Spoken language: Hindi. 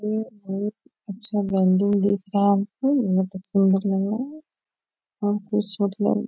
उम बहुत अच्छा बिल्डिंग दिख रहा है बहुत ही सुंदर लग रहा है और कुछ मतलब --